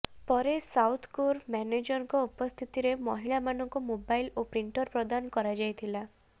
ପରେ ସାଉଥକୋର ମ୍ୟାନେଜରଙ୍କ ଉପସ୍ଥିତିରେ ମହିଳା ମାନଙ୍କୁ ମୋବାଇଲ ଓ ପ୍ରିଣ୍ଟର ପ୍ରଦାନ କରାଯାଇଥିଲା